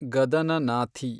ಗದನನಾಥಿ